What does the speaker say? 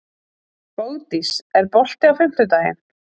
Bogdís, er bolti á fimmtudaginn?